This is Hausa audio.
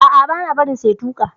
A'a, bana barin sa ya tuka.